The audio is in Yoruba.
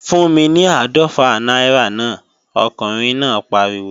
Fún mi ní áàdọ́fà náírà mi, ọkùnrin náà pariwo!